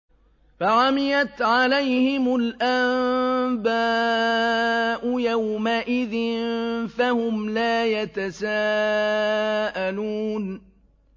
فَعَمِيَتْ عَلَيْهِمُ الْأَنبَاءُ يَوْمَئِذٍ فَهُمْ لَا يَتَسَاءَلُونَ